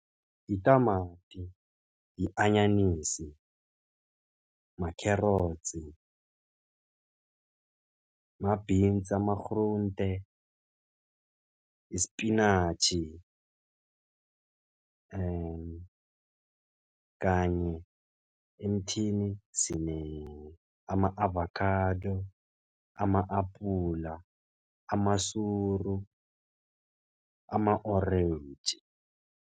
Itamati, i-anyanisi, ma-carrots, ma-beans, ama-groente, isipinatjhi kanye emthini sine ama-avokhado, ama-apula, amasuru, ama-orentji.